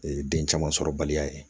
den caman sɔrɔbaliya ye